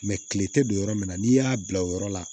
kile tɛ don yɔrɔ min na n'i y'a bila o yɔrɔ la